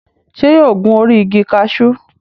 Ṣé yóò gun orí igi kaṣú?